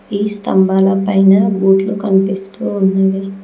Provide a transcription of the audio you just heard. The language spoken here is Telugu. ఈ స్తంభాల పైన బూట్లు కనిపిస్తూ ఉన్నవి.